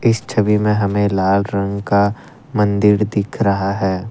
इस छवि में हमें लाल रंग का मंदिर दिख रहा है।